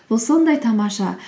бұл сондай тамаша